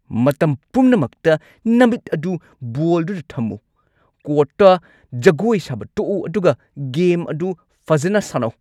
ꯃꯇꯝ ꯄꯨꯝꯅꯃꯛꯇ ꯅꯃꯤꯠ ꯑꯗꯨ ꯕꯣꯜꯗꯨꯗ ꯊꯝꯃꯨ! ꯀꯣꯔꯠꯇ ꯖꯒꯣꯏ ꯁꯥꯕ ꯇꯣꯛꯎ ꯑꯗꯨꯒ ꯒꯦꯝ ꯑꯗꯨ ꯐꯖꯅ ꯁꯥꯟꯅꯧ꯫